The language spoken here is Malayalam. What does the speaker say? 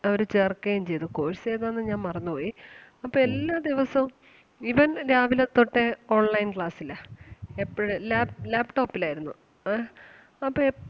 അവര് ചേർക്കയും ചെയ്തു. course ഏതാന്ന് ഞാൻ മറന്ന് പോയി അപ്പം എല്ലാ ദിവസവും ഇവൻ രാവിലെ തൊട്ട് online class ലാ എപ്പഴും lap laptop ലാരുന്നു അഹ് അപ്പം എ~